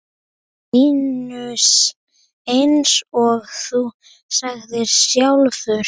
Eins og þú sagðir sjálf.